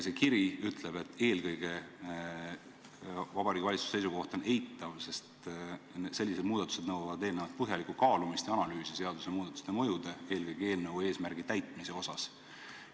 See kiri ütleb, et eelkõige on Vabariigi Valitsuse seisukoht eitav, sest sellised muudatused nõuavad eelnevalt põhjalikku kaalumist ja analüüsi seadusemuudatuste mõjude, eelkõige eelnõu eesmärgi täitmise osas.